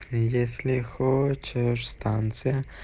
если хочешь станция